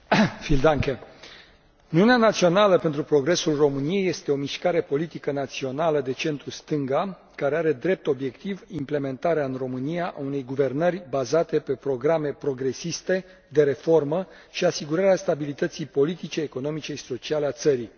Domnule președinte, Uniunea Națională pentru Progresul României este o mișcare politică națională de centru stânga care are drept obiectiv implementarea, în România, a unei guvernări bazate pe programe progresiste, de reformă, și asigurarea stabilității politice, economice și sociale a țării.